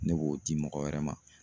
Ne b'o di mɔgɔ wɛrɛ ma